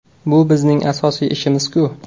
Bu bizning asosiy ishimiz-ku.